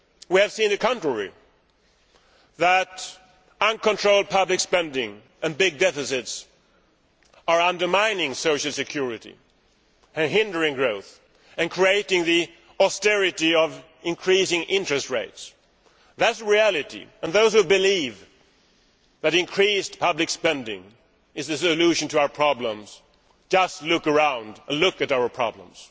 We have seen the contrary that uncontrolled public spending and big deficits are undermining social security and hindering growth, and creating the austerity of increasing interest rates. That is the reality, and those who believe that increased public spending is the solution to our problems should just look around and take a look at our problems.